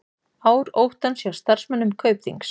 Ár óttans hjá starfsmönnum Kaupþings